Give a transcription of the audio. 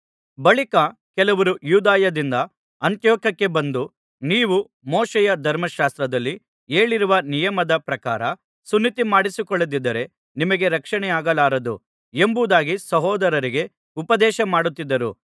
ಬಳಿಕ ಕೆಲವರು ಯೂದಾಯದಿಂದ ಅಂತಿಯೋಕ್ಯಕ್ಕೆ ಬಂದು ನೀವು ಮೋಶೆಯ ಧರ್ಮಶಾಸ್ತ್ರದಲ್ಲಿ ಹೇಳಿರುವ ನಿಯಮದ ಪ್ರಕಾರ ಸುನ್ನತಿಮಾಡಿಸಿಕೊಳ್ಳದಿದ್ದರೆ ನಿಮಗೆ ರಕ್ಷಣೆಯಾಗಲಾರದು ಎಂಬುದಾಗಿ ಸಹೋದರರಿಗೆ ಉಪದೇಶಮಾಡುತ್ತಿದ್ದರು